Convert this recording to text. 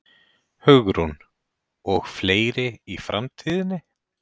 Hugrún: Og fleiri í framtíðinni?